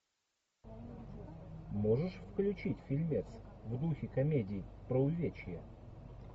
можешь включить фильмец в духе комедии про увечья